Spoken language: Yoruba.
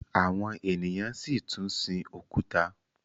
àwọn ènìyàn si tún sìn òkúta